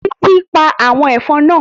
Títí pa àwọn ẹ̀fọn náà